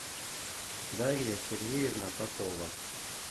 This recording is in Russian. дарья сергеевна попова